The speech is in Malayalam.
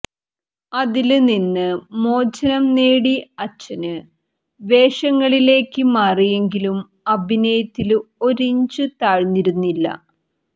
അതില് നിന്ന് മോചനം നേടി അച്ഛന് വേഷങ്ങളിലേക്ക് മാറിയെങ്കിലും അഭിനയിത്തില് ഒരിഞ്ച് താഴ്ന്നിരുന്നില്ല